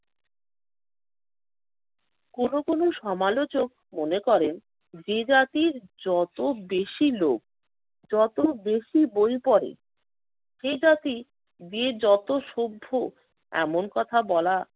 কোনো কোনো সমালোচক মনে করেন যে জাতির যত বেশি লোভ, যত বেশি বই পড়ে সে জাতি যে যত সভ্য এমন কথা বলা